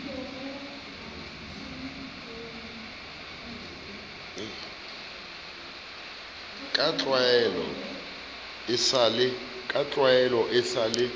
ka tlwaelo e sa le